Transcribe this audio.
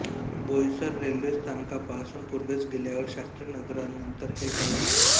Boisar railway स्थानकापासून पूर्वेस गेल्यावर शास्रीनगरानंतर हे गाव लागते